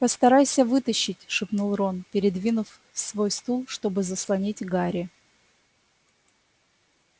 постарайся вытащить шепнул рон передвинув свой стул чтобы заслонить гарри